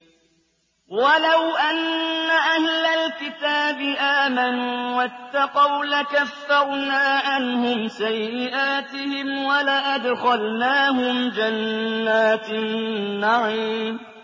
وَلَوْ أَنَّ أَهْلَ الْكِتَابِ آمَنُوا وَاتَّقَوْا لَكَفَّرْنَا عَنْهُمْ سَيِّئَاتِهِمْ وَلَأَدْخَلْنَاهُمْ جَنَّاتِ النَّعِيمِ